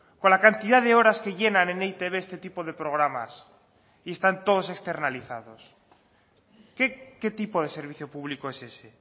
con la cantidad de horas que llenan en e i te be este tipo de programas y están todos externalizados qué tipo de servicio público es ese